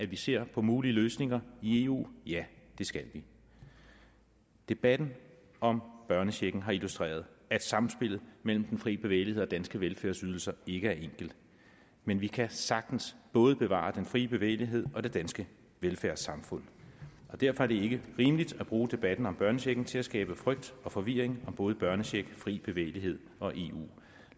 vi ser på mulige løsninger i eu ja det skal vi debatten om børnechecken har illustreret at samspillet mellem den frie bevægelighed og danske velfærdsydelser ikke er enkelt men vi kan sagtens både bevare den frie bevægelighed og det danske velfærdssamfund og derfor er det ikke rimeligt at bruge debatten om børnechecken til at skabe frygt og forvirring om både børnecheck fri bevægelighed og eu